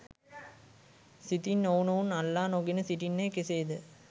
සිතින් ඔවුනොවුන් අල්ලා නොගෙන සිටින්නේ කෙසේද?